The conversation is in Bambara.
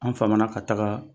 An famana ka taga